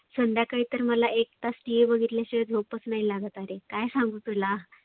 संध्याकाळी तर मला एक तास TV बघितल्याशिवाय झोपच नाही लागत आरे. काय सांगु तुला?